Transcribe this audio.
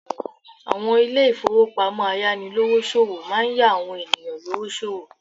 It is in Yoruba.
Àwọn Ilé ìfowópamọ́ ayánilówó ṣòwò máa ń yá àwọn ènìyàn lówó sòwò